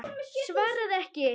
Svaraði ekki.